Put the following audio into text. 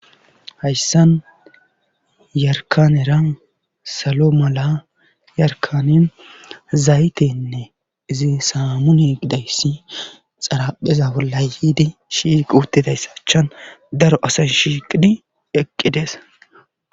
hayssan yarkaneran salo mala yarkanen zaytenne izi saamune gidayssi xarapheza wola yiidi shiquutidayssachan daro asa shiiqidi eqqides